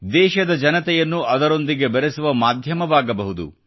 ದೇಶದ ಜನತೆಯನ್ನು ಅದರೊಂದಿಗೆ ಬೆರೆಸುವ ಮಾಧ್ಯಮವಾಗಬಹುದು